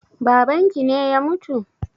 Babanki ne ya mutu?